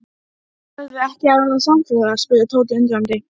Ætlarðu ekki að verða samferða? spurði Tóti undrandi.